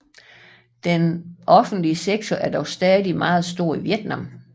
Den offentlige sektor er dog stadig meget stor i Vietnam